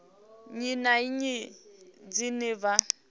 nnyi na nnyi dzine vha